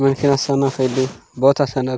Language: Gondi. मेख तने सोना खरीदे बोथ असानक --